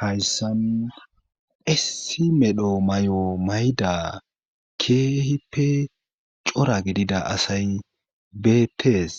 Hayssan issi medho may,o mayda keehippe cora gidida asay beettees